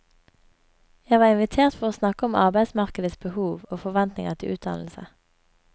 Jeg var invitert for å snakke om arbeidsmarkedets behov og forventninger til utdannelse.